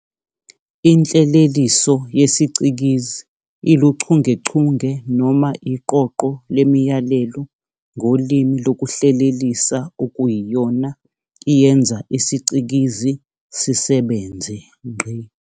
Inhleleliso yesiCikizi iluchungechunge noma iqoqo lemiyalelo ngolimi lokuhlelelisa okuyiyona iyenza isiCikizi sisebenze.